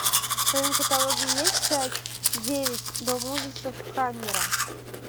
в твоем каталоге есть часть девять дом ужасов хаммера